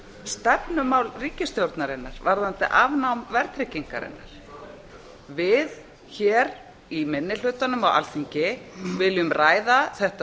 stefnumál ríkisstjórnarinnar varðandi afnám verðtryggingarinnar við hér í minni hlutanum á alþingi viljum ræða þetta